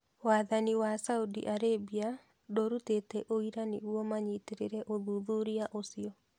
Wathani wa Saudi Arabia ndũrutĩte ũira nĩguo manyitĩrĩre ũthuthuria ũcio.